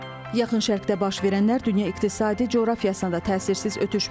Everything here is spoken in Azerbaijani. Yaxın Şərqdə baş verənlər dünya iqtisadi coğrafiyasına da təsirsiz ötüşməyib.